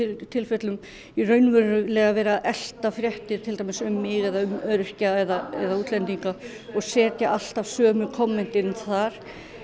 tilfellum raunverulega vera að elta fréttir um mig öryrkja eða útlendinga og setja alltaf sömu kommentin þar